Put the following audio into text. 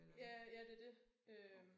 Ja ja det er det øh